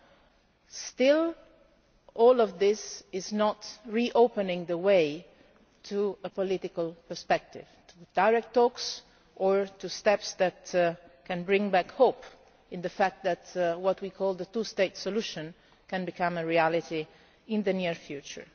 But none of this is reopening the path to a political perspective, to direct talks or to steps that can bring back hope in the fact that what we call the two state solution' can become a reality in the near future.